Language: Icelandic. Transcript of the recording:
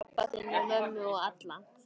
Pabba þinn og mömmu og alla.